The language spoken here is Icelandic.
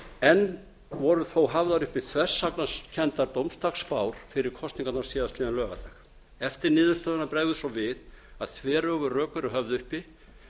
enn voru þó hafðar uppi þversagnakenndar dómsdagsspár fyrir kosningarnar síðastliðinn laugardag eftir niðurstöðuna bregður svo við að þveröfug rök eru höfð uppi